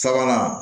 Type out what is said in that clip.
Sabanan